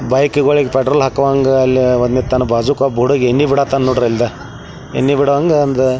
bike ಗುಳಿಗ್ petrol ಹಾಕೋವಂಗ ಓಬ್ನಿರ್ತಾನ ಬಾಜ಼ುಕ್ಕ ಒಬ್ ಉಡುಗಿ ಎನ್ನಿ ಬೀಡಾತ್ತನ್ ನೋಡ್ರಿ ಅಲ್ಲ ಬಿಡುವಾಗ ಒಂದ --